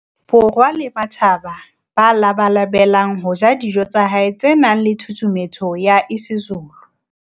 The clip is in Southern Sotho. Borwa le ba matjhaba ba labalabelang ho ja dijo tsa hae tse nang le tshusumetso ya isiZulu.